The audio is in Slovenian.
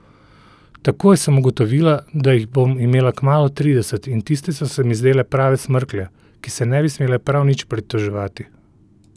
Takoj sem ugotovila, da jih bom imela kmalu trideset in tiste so se mi zdele prave smrklje, ki se ne bi smele prav nič pritoževati.